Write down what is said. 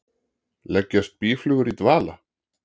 Leggjast býflugur í dvala?